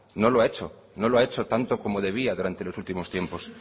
no lo ha hecho no lo ha hecho tanto como debía durante los últimos tiempos